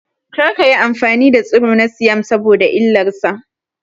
Kar kayi amfani da tsiro na siyam saboda illar sa